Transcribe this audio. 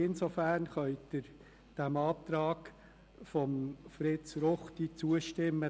Insofern können Sie dem Antrag von Fritz Ruchti zustimmen.